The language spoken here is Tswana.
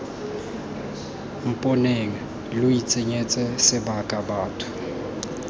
mponeng lo itshenyetsa sebaka batho